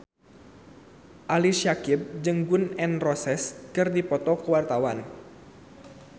Ali Syakieb jeung Gun N Roses keur dipoto ku wartawan